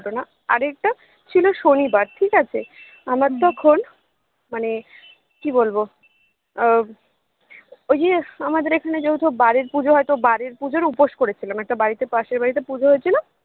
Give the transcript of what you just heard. ঘটনা আরেকটা ছিল শনিবার ঠিকাছে আমার তখন মানে কি বলবো আহ ওই যে আমাদের এখানে যেহেতু বারের পুজো হয় তো বারের পুজোর উপোস করেছিলাম একটা বাড়িতে পাশের বাড়িতে পুজো হয়েছিল